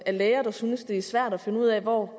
læger der synes det er svært at finde ud af hvor